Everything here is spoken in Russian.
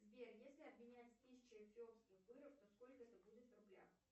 сбер если обменять тысячу эфиопских быров то сколько это будет в рублях